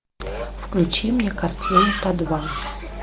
включи мне картину подвал